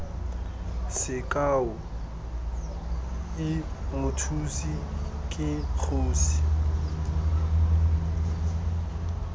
sekao i mothusi ke kgosi